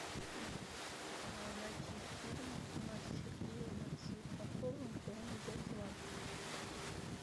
найти фильм с сергеем светлаковым где он ведет свадьбу